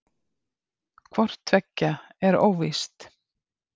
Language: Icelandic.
hvort tveggja er óvíst